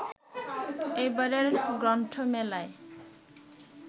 এবারের গ্রন্থমেলায়